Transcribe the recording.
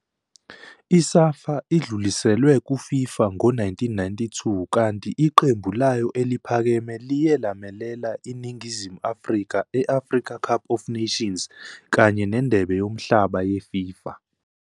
I-SAFA idluliselwe kuFIFA ngo-1992 kanti iqembu layo eliphakeme liye lamelela iNingizimu Afrika e-Afrika Cup of Nations kanye neNdebe yoMhlaba yeFIFA.